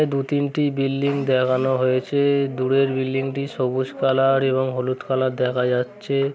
দু তিনটি বিল্ডিং দেখানো হয়েছে | দূরের বিল্ডিং টি সবুজ কালার এবং হলুদ কালার দেখা যাচ্ছে ।